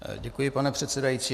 Děkuji, pane předsedající.